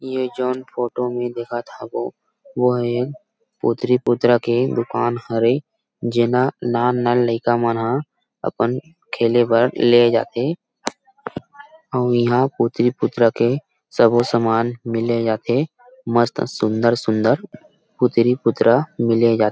ये जाऊन फोटो म देखत हबो वो ह एक पुत्री पुत्रा के दुकान हरे जेमा नान नान लईका मन ह अपन खेले भर ले जा थे अउ यहां पुत्री पुत्रा के सबो सामान मिले जा थे मस्त सुन्दर सुन्दर पुत्री पुत्रा के मिले जा थे।